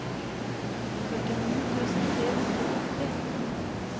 førtini tusen tre hundre og åtti